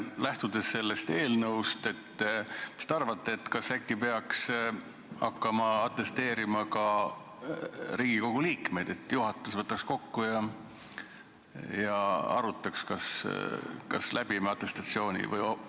Lähtudes sellest eelnõust, mis te arvate, kas peaks hakkama atesteerima ka Riigikogu liikmeid, et äkki juhatus tuleks kokku ja arutaks, kas me läbime atestatsiooni?